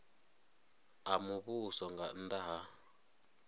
a muvhuso nga nnda ha